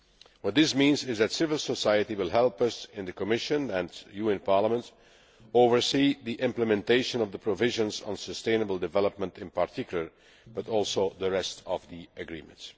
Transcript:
What this means is that civil society will help us in the Commission, and you in Parliament, to oversee the implementation of the provisions on sustainable development in particular, but also the rest of the agreement.